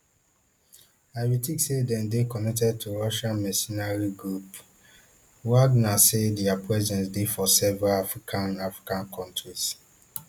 i bin think say dem dey connected to russian mercenary group wagner say dia presence dey for several african african countries